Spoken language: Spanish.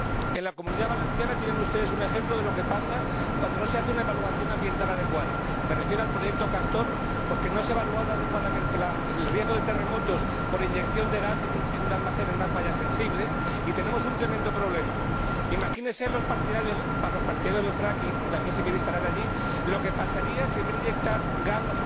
En la Comunidad Valenciana tienen ustedes un ejemplo de lo que pasa cuando no se hace una evaluación ambiental adecuada ―me refiero al proyecto Castor―, porque no se ha evaluado adecuadamente el riesgo de terremotos por inyección de gas en un almacén en una falla sensible, y tenemos un tremendo problema. Imagínense los partidarios del fracking que también se quiere aplicar allí lo que pasaría si, en vez de inyectar gas